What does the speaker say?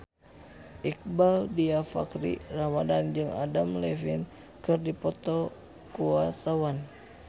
Iqbaal Dhiafakhri Ramadhan jeung Adam Levine keur dipoto ku wartawan